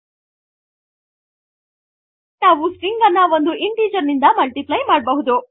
ಹಾಗೆಯೇ ನಾವು ಸ್ಟ್ರಿಂಗ್ ಅನ್ನು ಒಂದು ಇಂಟಿಜರ್ ನಿಂದ ಮಲ್ಟಿಪ್ಲೈ ಮಾಡಬಹುದು